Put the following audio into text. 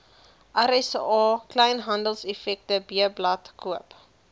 rsa kleinhandeleffektewebblad koop